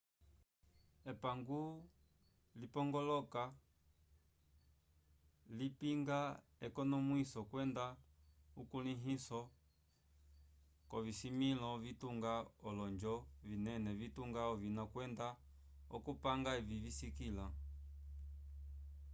epango lipongoloka lipinga ekonomwiso kwenda ukulĩhiso k'ovisimĩlo vitunga olonjo vinene vitunga ovina kwenda okupanga evi viskiliwa